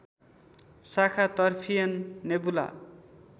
शाखा तर्फियन नेबुला